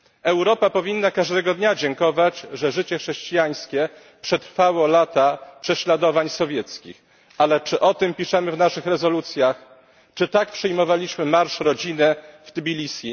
Europa powinna każdego dnia dziękować, że życie chrześcijańskie przetrwało lata prześladowań sowieckich, ale czy o tym piszemy w naszych rezolucjach, czy tak przyjmowaliśmy Marsz Rodziny w Tbilisi?